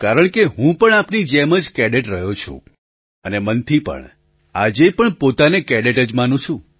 કારણ કે હું પણ આપની જેમ જ કેડેટ રહ્યો છું અને મનથી પણ આજે પણ પોતાને કેડેટ જ માનું છું